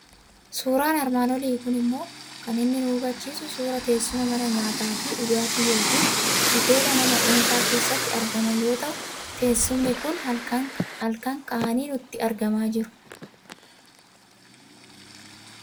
Suuraan armaan olii kun immoo kan inni nu hubachiisu suuraa teessuma mana nyaataa fi dhugaatii yookiin hoteela nama dhuunfaa keessatti argaman yoo ta'u, teessumni kun halkan ka'anii nutti argamaa jiru.